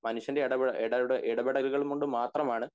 മനുഷ്യന്റെ ഇടപെട എടപെട എടപെടലുകൊണ്ട് മാത്രം ആണ്